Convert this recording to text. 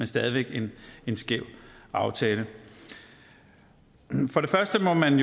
stadig væk en skæv aftale for det første må man